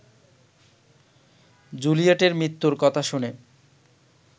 জুলিয়েটের মৃত্যুর কথা শুনে